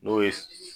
N'o ye